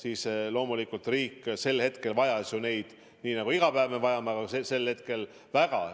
Aga loomulikult riik vajas neid sel ajal ja vajab ka pregu iga päev väga.